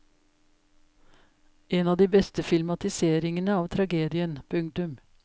En av de beste filmatiseringene av tragedien. punktum